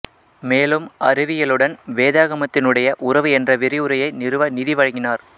மேலும் அறிவியலுடன் வேதாகமத்தினுடைய உறவு என்ற விரிவுரையை நிறுவ நிதி வழங்கினார்